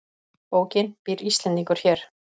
Bókin Býr Íslendingur hér?